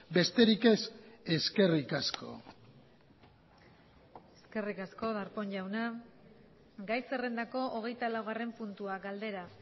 besterik ez eskerrik asko eskerrik asko darpón jauna gai zerrendako hogeita laugarren puntua galdera